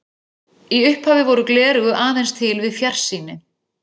Í upphafi voru gleraugu aðeins til við fjarsýni.